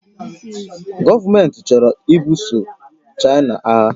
Gọọmenti chọrọ ibuso China agha